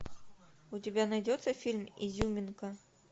у тебя найдется фильм изюминка